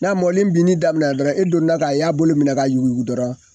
N'a mɔlen binni daminɛ dɔrɔn e don da k'a y'a bolo minɛ ka yugu yugu dɔrɔn